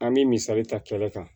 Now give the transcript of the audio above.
An bɛ misali ta kɛnɛ kan